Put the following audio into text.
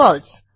फळसे